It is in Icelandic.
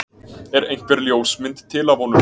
er einhver ljósmynd til af honum